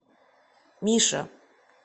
миша